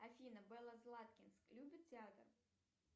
афина белла златкинск любит театр